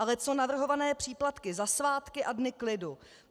Ale co navrhované příplatky za svátky a dny klidu?